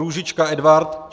Růžička Edvard